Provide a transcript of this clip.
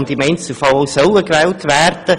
Im Einzelfall sollen sie auch gewählt werden.